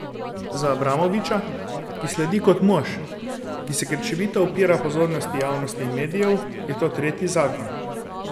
Za Abramoviča, ki slovi kot mož, ki se krčevito upira pozornosti javnosti in medijev, je to tretji zakon.